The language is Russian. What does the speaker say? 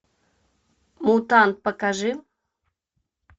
мутант покажи